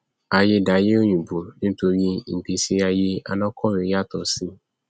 aiyé daiyé òyìnbó nítorí ìgbésí aiyé alákọwé yàtọ sí